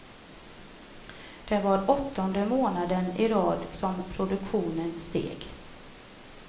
Det var åttonde månaden i rad som produktionen steg.